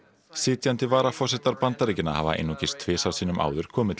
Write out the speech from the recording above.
sitjandi varaforsetar Bandaríkjanna hafa einungis tvisvar sinnum áður komið til